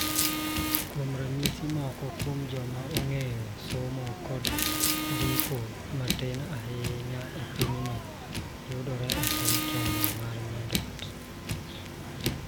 Kuom ranyisi, moko kuom joma ong�eyo somo kod ndiko matin ahinya e pinyno yudore e piny Kenya ma Nyanduat.